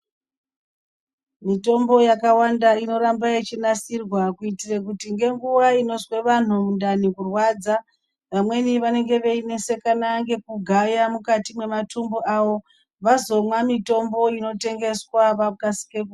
Mitombo yakawanda inoramba yeinasirwa kuitira kuti ngenguva inozwe vanhu mundani kurwadza amweni anenge einesakan nekugaya mukati mematumbu awo vazomwa mitombo inotengeswa wakasike kupora.